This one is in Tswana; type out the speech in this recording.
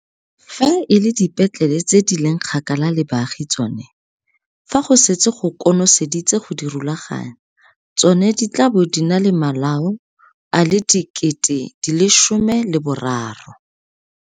Fa e le dipetlele tse di leng kgakala le baagi tsone, fa go setse go kono seditse go di rulaganya, tsona di tla bo di na le malao a le 13 000.